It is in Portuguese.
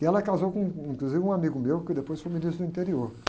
E ela casou com, com, inclusive, um amigo meu, que depois foi ministro do interior.